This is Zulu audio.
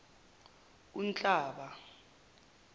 unhlaba